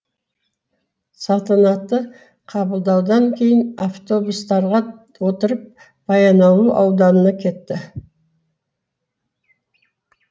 салтанатты қабылдаудан кейін автобустарға отырып баянауыл ауданына кетті